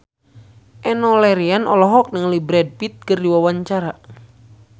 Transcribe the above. Enno Lerian olohok ningali Brad Pitt keur diwawancara